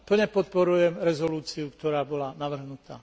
Plne podporujem rezolúciu, ktorá bola navrhnutá.